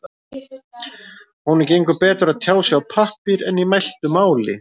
Honum gengur betur að tjá sig á pappír en í mæltu máli.